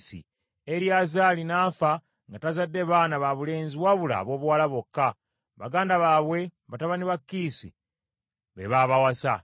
Eriyazaali n’afa nga tazadde baana babulenzi wabula aboobuwala bokka. Baganda baabwe, batabani ba Kiisi be babawassa.